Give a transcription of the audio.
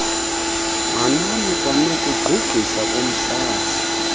manani kwanokugqugqisa komhlaza